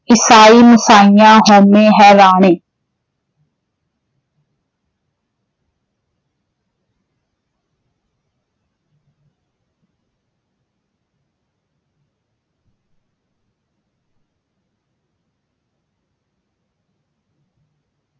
ਈਸਾਈ, ਮੂਸਾਈਆਂ ਹਊਮੈ ਹੈਰਾਣੇ॥